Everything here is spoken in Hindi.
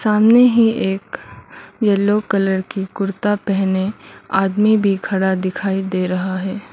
सामने ही एक येलो कलर की कुर्ता पहने आदमी भी खड़ा दिखाई दे रहा है।